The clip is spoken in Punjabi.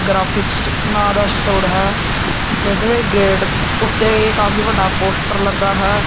ਗਰਾਫਿਕਸ ਨਾਂ ਦਾ ਸਟੋਰ ਹੈ ਜਿੱਥੇ ਗੇੜ ਉੱਤੇ ਇਹ ਕਾਫੀ ਵੱਡਾ ਪੋਸਟਰ ਲੱਗਾ ਹੈ।